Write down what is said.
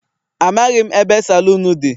Amaghị m ebe saloon dị.